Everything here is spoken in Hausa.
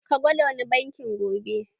Ka gwada wani bankin gobe.